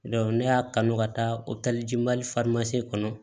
ne y'a kanu ka taa o kɛli mali kɔnɔ